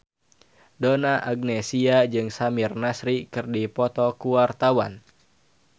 Donna Agnesia jeung Samir Nasri keur dipoto ku wartawan